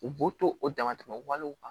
U b'u to o damatɛmɛ walew kan